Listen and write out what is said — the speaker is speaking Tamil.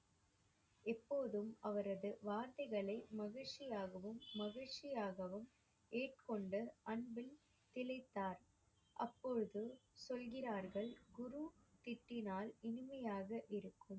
எப்போதும் அவரது வார்த்தைகளை மகிழ்ச்சியாகவும் மகிழ்ச்சியாகவும் அன்பில் திளைத்தார். அப்பொழுது சொல்கிறார்கள் குரு திட்டினால் இனிமையாக இருக்கும்,